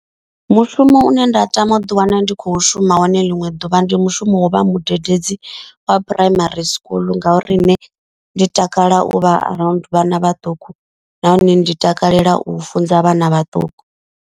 Mushumo une nda tama u ḓi wana ndi kho shuma wone ḽiṅwe ḓuvha. Ndi mushumo wa u vha mudededzi wa primary school. Ngauri nṋe ndi takala u vha around vhana vhaṱuku nahone ndi takalela u funza vhana vhaṱuku.